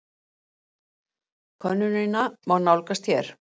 Könnunina má nálgast hér